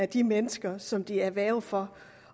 de mennesker som de er værge for